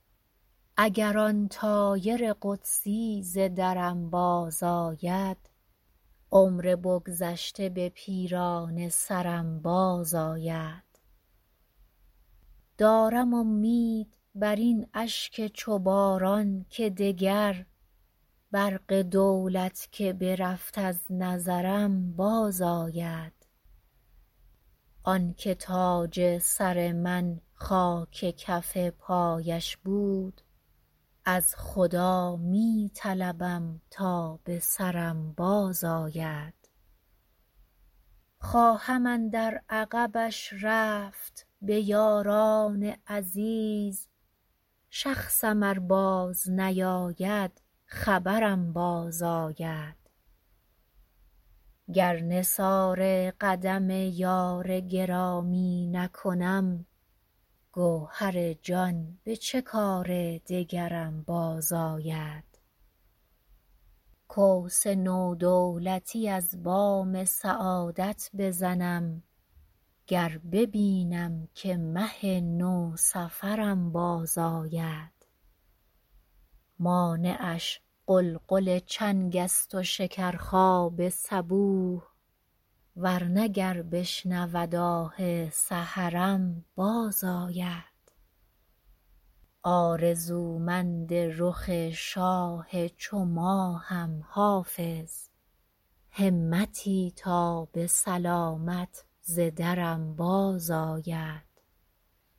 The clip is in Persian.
اگر آن طایر قدسی ز درم بازآید عمر بگذشته به پیرانه سرم بازآید دارم امید بر این اشک چو باران که دگر برق دولت که برفت از نظرم بازآید آن که تاج سر من خاک کف پایش بود از خدا می طلبم تا به سرم بازآید خواهم اندر عقبش رفت به یاران عزیز شخصم ار بازنیاید خبرم بازآید گر نثار قدم یار گرامی نکنم گوهر جان به چه کار دگرم بازآید کوس نو دولتی از بام سعادت بزنم گر ببینم که مه نوسفرم بازآید مانعش غلغل چنگ است و شکرخواب صبوح ور نه گر بشنود آه سحرم بازآید آرزومند رخ شاه چو ماهم حافظ همتی تا به سلامت ز درم بازآید